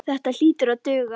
Þetta hlýtur að duga.